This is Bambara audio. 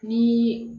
Ni